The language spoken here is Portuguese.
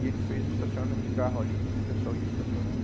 E ele fez um estacionamento de carro ali, que o pessoal ia estacionando.